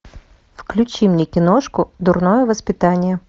включи мне киношку дурное воспитание